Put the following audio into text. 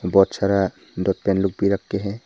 बहोत सारा dot pen लोग भी रख के हैं।